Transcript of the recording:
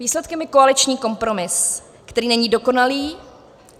Výsledkem je koaliční kompromis, který není dokonalý.